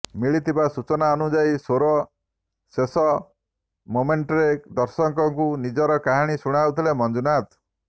ମିଳିଥିବା ସୂଚନା ଅନୁଯାୟୀ ସୋର ଶେଷ ମୋମେଂଟରେ ଦର୍ଶକଙ୍କୁ ନିଜ କାହାଣୀ ଶୁଣାଉଥିଲେ ମଞ୍ଜୁନାଥ